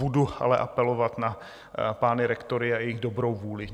Budu ale apelovat na pány rektory a jejich dobrou vůli.